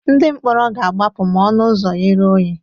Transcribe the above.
Ndị mkpọrọ ga-agbapụ ma ọnụ ụzọ ghere oghe.